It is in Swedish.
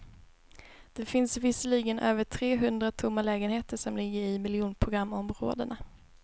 Det finns visserligen över tre hundra tomma lägenheter, som ligger i miljonprogramområdena.